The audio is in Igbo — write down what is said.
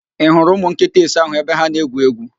Ị hụrụ ụmụ nkịta ise ahụ ebe ha na-egwu égwú?